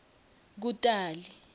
kutali